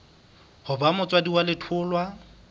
ho ba motswadi wa letholwa